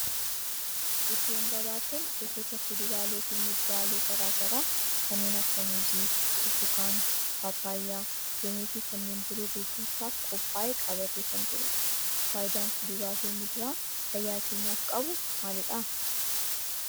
iddoon gabaa kun gosoota kuduraalee fi muduraalee garaa garaa kanneen akka muuzii, burtukaana, paappayyaa, loomii fi kanneen biroo gurgurtaaf qophaa'ee qabatee kan jirudha. faayidaan kuduraa fi muduraan fayyaa keenyaf qabu maalidha?